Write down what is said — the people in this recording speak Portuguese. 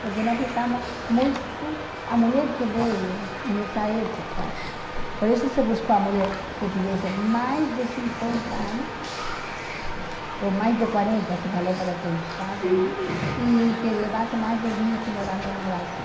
Porque nós ficamos muito... A mulher que veio nessa época, por isso se buscou a mulher que tivesse mais de cinquenta anos, ou mais de quarenta, se falou para que chegasse mais, e que levasse mais de vinte morando no Brasil.